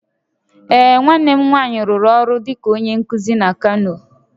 Ee, nwanne m nwanyị rụrụ ọrụ dịka onye nkuzi na Kano